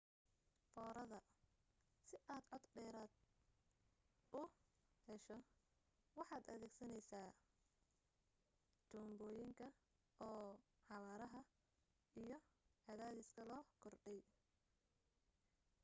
foorida si aad cod dheeraada u hesho waxaad adeegsanaysaa tuunbooyinka oo xawaaraha iyo cadaadiska loo kordhiyay